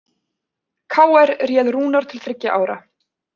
KR réð Rúnar til þriggja ára